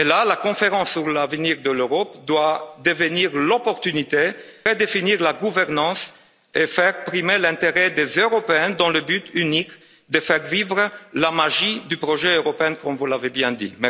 La conférence sur l'avenir de l'Europe doit devenir l'occasion de redéfinir la gouvernance et faire primer l'intérêt des Européens dans le but unique de faire vivre la magie du projet européen, comme vous l'avez bien dit.